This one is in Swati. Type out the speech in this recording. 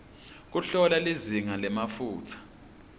kuhlola lizinga lemafutsa